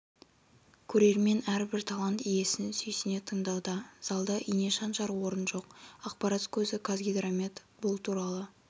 көрермен әрбір талант иесін сүйсіне тыңдауда залда ине шаншар орын жоқ ақпарат көзі қазгидромет бұл туралы